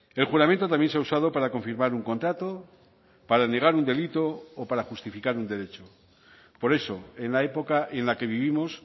el juramento también se ha usado para confirmar un contrato para negar un delito o para justificar un derecho por eso en la época en la que vivimos